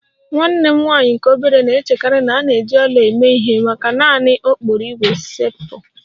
Nwanne m nwanyị nke obere na-echekarị na a na-eji ọla eme ihe maka naanị okporo ígwè steepụ